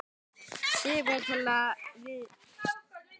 Sigurbjörn til við að vélrita skýrsluna.